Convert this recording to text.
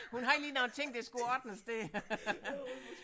Hun har lige nogle ting der skulle ordnes der